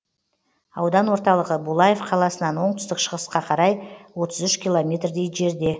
аудан орталығы булаев қаласынан оңтүстік шығысқа қарай отыз үш километрдей жерде